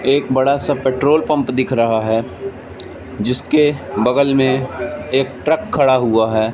एक बड़ा सा पेट्रोल पंप दिख रहा है जिसके बगल में एक ट्रक खड़ा हुआ है।